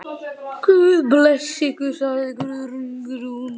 Guð blessi ykkur, sagði Guðrún.